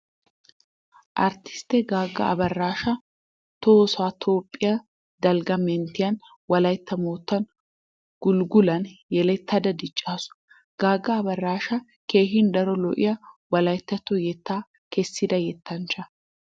Arttisttiya Gaagga Abaraasha Tohossa Toophphiyaa dalgga manttiyan, Wolaytta moottan, Gulggulan yelettada diccaasu. Gaagga Abaraasha keehi daro lo'iya Wolayttatto yettata kessida yettanchcha.